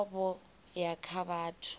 vuwa vho ya kha vhathu